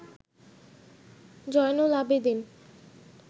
Zainul Abedin